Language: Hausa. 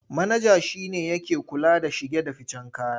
Manaja shi ne yake kula da shige da ficen kaya.